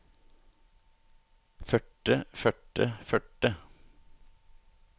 førte førte førte